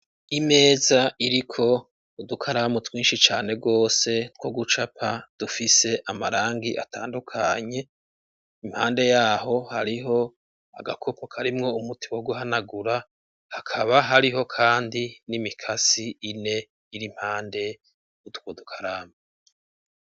Imeza iriko udukaramu twinshi cane gose, two gucapa, dufise amarangi atandukanye, impande yaho hariho agakopoka karimwo umutimo wo guhanagura ,hakaba hariho kandi n'imikasi ine iri impande utwodukaramu.